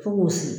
Fo k'o sigi